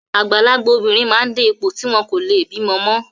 Àgbàlagbà obìnrin máa ń dé ipò tí wọn kò leè bímọ mọ́.